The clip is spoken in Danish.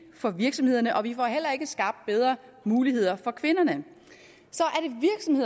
for virksomhederne og vi får heller ikke skabt bedre muligheder for kvinderne